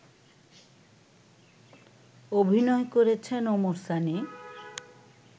অভিনয় করেছেন ওমর সানি